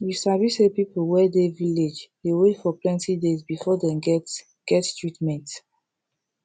you sabi say people wey dey village dey wait for plenti days before dey get get treatment